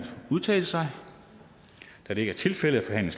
udtale sig da det ikke er tilfældet er